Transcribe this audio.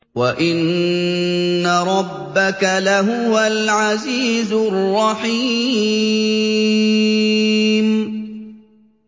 وَإِنَّ رَبَّكَ لَهُوَ الْعَزِيزُ الرَّحِيمُ